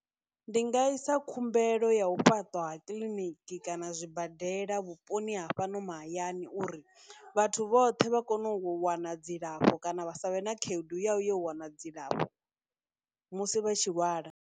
Ndi nga isa khumbelo ya u fhaṱwa kiḽiniki kana zwibadela vhuponi ha fhano mahayani uri vhathu vhoṱhe vha kone u wana dzilafho kana vha savhe na khaedu ya u ya wana dzilafho musi vha tshi lwala.